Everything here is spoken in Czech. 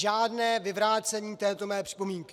Žádné vyvrácení této mé připomínky.